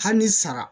Hali ni sara